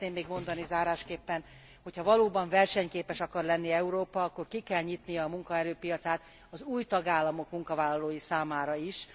Azt szeretném még mondani zárásképpen, hogyha valóban versenyképes akar lenni Európa, akkor ki kell nyitnia a munkaerőpiacát az új tagállamok munkavállalói számára is.